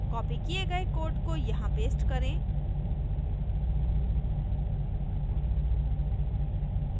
copied किये गये code को यहाँ paste करें